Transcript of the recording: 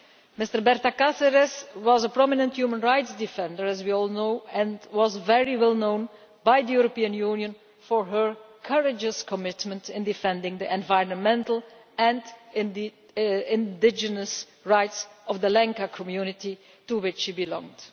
Ms Cáceres was a prominent human rights defender, as we all know, and was very well known by the European Union for her courageous commitment in defending the environment and the indigenous rights of the Lenca community to which she belonged.